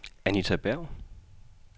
Anita Berg